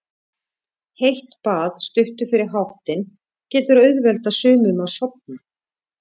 Heitt bað stuttu fyrir háttinn getur auðveldað sumum að sofna.